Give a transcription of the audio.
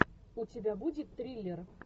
у тебя будет триллер